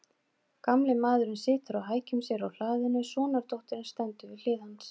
Gamli maðurinn situr á hækjum sér á hlaðinu, sonardóttirin stendur við hlið hans.